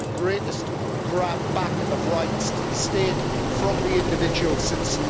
It is the greatest grab back of rights to the state from the individual since